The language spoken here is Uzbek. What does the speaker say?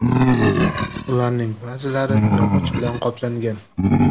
Ularning ba’zilari yog‘och bilan qoplangan.